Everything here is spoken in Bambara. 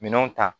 Minɛnw ta